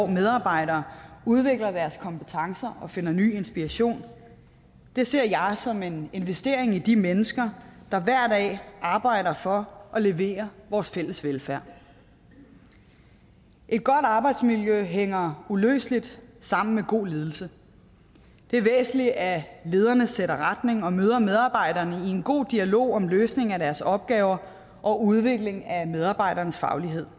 medarbejdere udvider deres kompetencer og finder ny inspiration det ser jeg som en investering i de mennesker der hver dag arbejder for at levere vores fælles velfærd et godt arbejdsmiljø hænger uløseligt sammen med god ledelse det er væsentligt at lederne sætter retning og møder medarbejderne i en god dialog om løsning af deres opgaver og udvikling af medarbejdernes faglighed